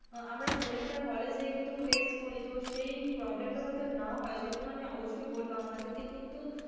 আমরা পরীক্ষার hall এ যেয়ে কিন্তু face করি তো সেই problem টা যাতে না হয় সেই. জন্য আমি অবশ্যই বলবো আমাদেরকে কিন্তু,